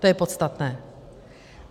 To je podstatné.